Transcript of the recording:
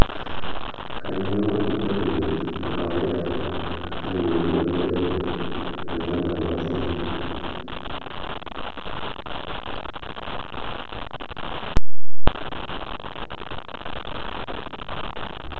kanyioo intokitin e kawaida nayieuni paiteru olchamba loo sinkirr?